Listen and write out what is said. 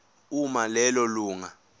uma lelo lunga